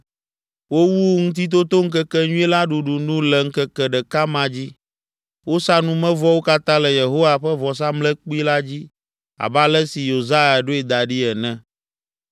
Wowu Ŋutitotoŋkekenyui la ɖuɖu nu le ŋkeke ɖeka ma dzi. Wosa numevɔwo katã le Yehowa ƒe vɔsamlekpui la dzi abe ale si Yosia ɖoe da ɖi ene.